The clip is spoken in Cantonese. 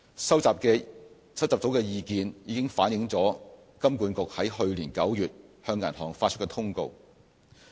收集到的意見已經反映在金管局於去年9月向銀行發出的通告。